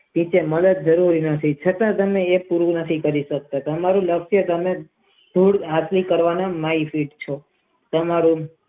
તમારે કઈ કામ કરવાનું નથી છતાં તમે તમારું વચન પૂરું નથી કરી સકતા તમારી નિત્ય હાથી કરવાનો નો બળ છે તમારું.